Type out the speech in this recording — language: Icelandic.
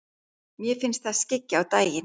Mér finnst það skyggja á daginn.